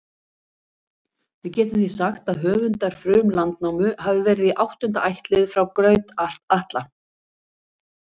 Við getum því sagt að höfundar Frum-Landnámu hafi verið í áttunda ættlið frá Graut-Atla.